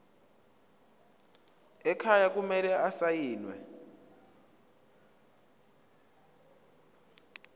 ekhaya kumele asayiniwe